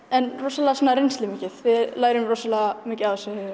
en rosalega svona reynslumikið við lærum rosalega mikið